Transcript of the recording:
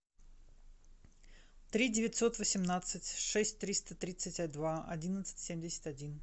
три девятьсот восемнадцать шесть триста тридцать два одиннадцать семьдесят один